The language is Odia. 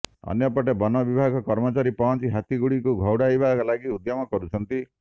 ଅନ୍ୟପଟେ ବନ ବିଭାଗ କର୍ମଚାରୀ ପହଞ୍ଚି ହାତୀଗୁଡ଼ିକୁ ଘଉଡ଼ାଇବା ଲାଗି ଉଦ୍ୟମ କରୁଛନ୍ତି